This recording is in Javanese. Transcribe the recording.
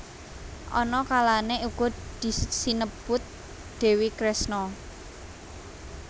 Ana kalane uga sinebut Dewi Kresna